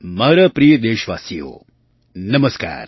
મારા પ્રિય દેશવાસીઓ નમસ્કાર